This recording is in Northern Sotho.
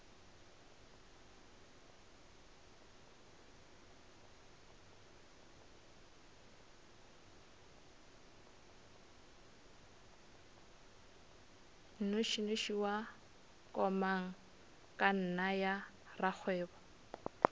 nnošinoši wa komangkanna ya rakgwebo